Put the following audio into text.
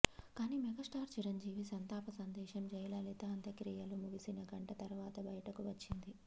కానీ మెగాస్టార్ చిరంజీవి సంతాప సందేశం జయలలిత అంత్య క్రియలు ముగిసిన గంట తరువాత బయటకు వచ్చింది